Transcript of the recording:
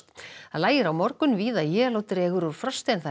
lægir á morgun víða él og dregur úr frosti